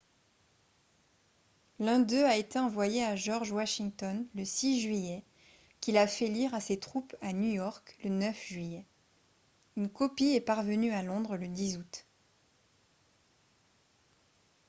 l'un d'eux a été envoyé à george washington le 6 juillet qui l'a fait lire à ses troupes à new york le 9 juillet une copie est parvenue à londres le 10 août